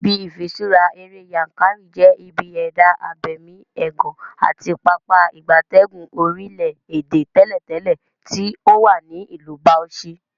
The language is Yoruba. Ibi ifiṣura ere Yankari je ibi eda abemi egan ati Pápá ìgbatẹ́gùn orile-ede teletele ti owa ni Ilu Bauchi.